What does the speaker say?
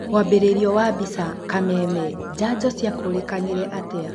Mwambĩrĩrio wa mbica, Kameme. Njanjo ciakũrĩkanire atĩa?